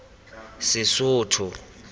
sesotho